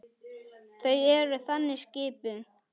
Þau eru þannig skipuð.